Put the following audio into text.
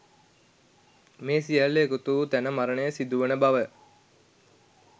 මේ සියල්ල එකතු වූ තැන මරණය සිදුවන බව